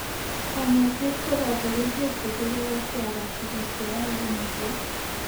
Kanyoiset ko boto kerchek che tere kotyakak tuguk che yoe kumisiet.